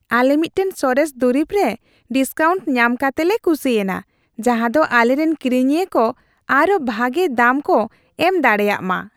ᱟᱞᱮ ᱢᱤᱫᱴᱟᱝ ᱥᱚᱨᱮᱥ ᱫᱩᱨᱤᱵᱽᱨᱮ ᱰᱤᱥᱠᱟᱣᱩᱱᱴ ᱧᱟᱢ ᱠᱟᱛᱮᱞᱮ ᱠᱩᱥᱤ ᱟᱱᱟ, ᱡᱟᱦᱟ ᱫᱚ ᱟᱞᱮ ᱨᱮᱱ ᱠᱤᱨᱤᱧᱤᱭᱟᱹ ᱠᱚ ᱟᱨ ᱦᱚᱸ ᱵᱷᱟᱜᱮ ᱫᱟᱢ ᱠᱚ ᱮᱢ ᱫᱟᱲᱮᱭᱟᱜᱼᱢᱟ ᱾